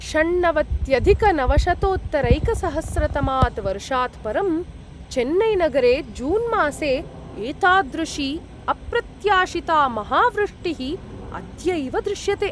षण्णवत्यधिकनवशतोत्तरैकसहस्रतमात् वर्षात् परं, चेन्नैनगरे जून्मासे एतादृशी अप्रत्याशिता महावृष्टिः अद्यैव दृश्यते।